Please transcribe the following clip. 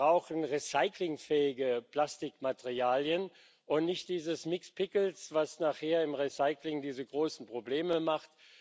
Wir brauchen recyclingfähige Plastikmaterialien und nicht dieses mixed pickles was nachher im Recycling diese großen Probleme macht.